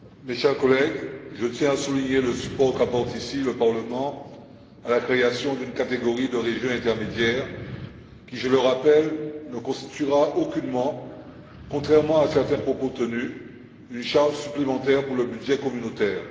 Monsieur le Président, chers collègues, je tiens à souligner le soutien qu'apporte ici le Parlement à la création d'une catégorie de régions intermédiaires qui, je le rappelle, ne constituera aucunement contrairement à certains propos tenus une charge supplémentaire pour le budget communautaire.